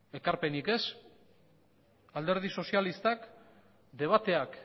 ekarpenik ez alderdi sozialistak debateak